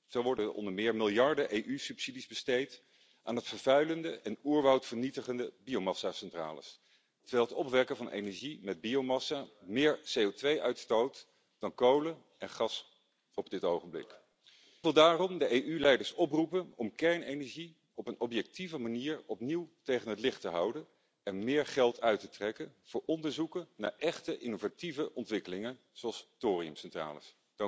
Zo worden onder meer miljarden EU subsidies besteed aan vervuilende en oerwoudvernietigende biomassacentrales, terwijl het opwekken van energie met biomassa meer CO2 uitstoot dan kolen en gas op dit moment. Ik wil daarom de EU leiders oproepen om kernenergie op een objectieve manier opnieuw tegen het licht te houden en meer geld uit te trekken voor onderzoeken naar echte innovatieve ontwikkelingen zoals thoriumcentrales.